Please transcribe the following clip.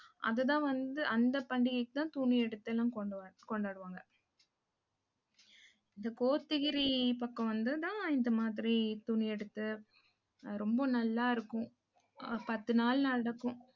அதுதான் வந்து, அந்த பண்டிகைக்குதான் துணி எடுத்து எல்லாம் கொண்டுவா~ கொண்டாடுவாங்க இந்த கோத்தகிரி பக்கம் வந்துதான் இந்த மாதிரி துணி எடுத்து ரொம்ப நல்லா இருக்கும். அஹ் பத்து நாள் நடக்கும்